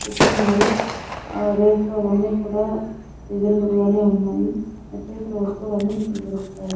పెట్టి ఉన్నారు రేట్ లు అవన్నీ కూడా రీజనబెల్ గానే ఉన్నాయి నిత్యావసర వస్తులన్నీ ఇక్కడ దొరుకుతాయి.